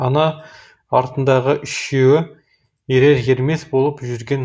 ана артындағы үшеуі ерер ермес болып жүрген